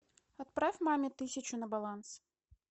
отправь маме тысячу на баланс